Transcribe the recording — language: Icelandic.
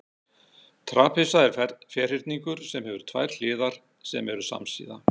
trapisa er ferhyrningur sem hefur tvær hliðar sem eru samsíða